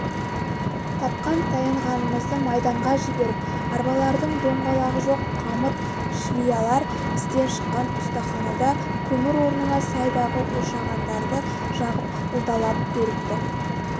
тапқан-таянғанымызды майданға жіберіп арбалардың доңғалағы жоқ қамыт-шлиялар істен шыққан ұстаханада көмір орнына сайдағы ошағандарды жағып ілдалап көрікті